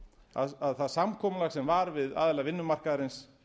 að það samkomulag sem var við aðila vinnumarkaðarins